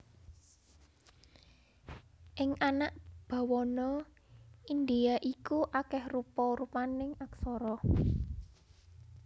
Ing anak bawana Indhia iku akèh rupa rupaning aksara